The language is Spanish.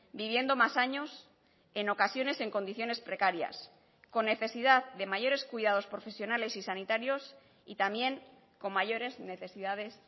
viviendo más años en ocasiones en condiciones precarias con necesidad de mayores cuidados profesionales y sanitarios y también con mayores necesidades